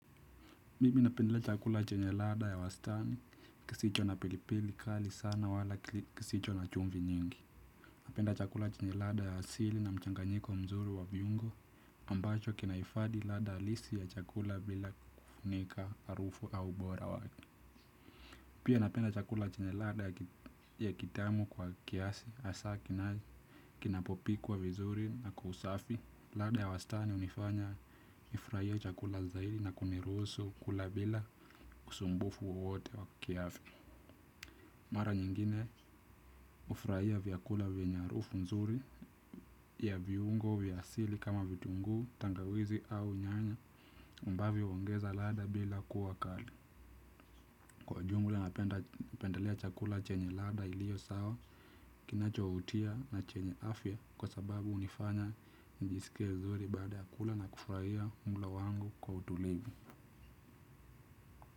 Mimi napendelea chakula chenye ladha ya wastani, kisicho na pilipili kali sana wala kisicho na chumvi nyingi. Napenda chakula chenye ladha ya asili na mchanganyiko mzuri wa viungo, ambacho kinahifadi ladha alisi ya chakula bila kufunika harufu au ubora wake. Pia napenda chakula chenye ladha ya kitamu kwa kiasi hasa kinai kinapopikuwa vizuri na kwa usafi ladha ya wastani hunifanya nifurahie chakula zaidi na kuniruhusu kula bila usumbufu wowote wa kiafya mara nyingine hufurahia vyakula vyenye harufu nzuri ya viungo vya asili kama vitunguu, tangawizi au nyanya ambavyo huongeza ladha bila kuwa kali kwa ujumla napendelea chakula chenye ladha iliyo sawa kinachovutia na chenye afya kwa sababu hunifanya nijisikie vizuri baada ya kula na kufurahia mlo wangu kwa utulivu.